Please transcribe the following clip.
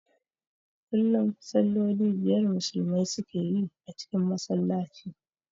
Kullum salloli biyar Musulmai su ke yi a cikin Masallaci